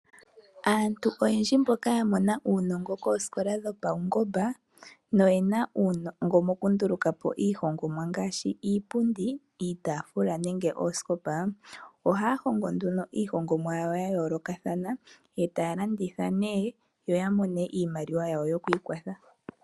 Aantu oyendji mboka yamona uunongo koosikola dhopaungomba no yena uunongo mokunduluka po iinima ngaashi iipundi, iitaafula nenge oosikopa ohaya hongo iihongomwa yayoolokathana e taya landitha yo yamone iimaliwa yokwiikwatha.